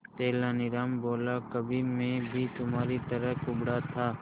तेनालीराम बोला कभी मैं भी तुम्हारी तरह कुबड़ा था